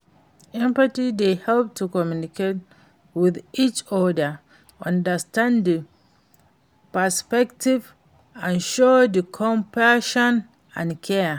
empathy dey help to connect with each oda, understand di perspectives and show di compassion and care.